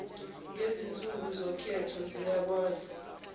ngezinsuku zokhetho ziyakwazi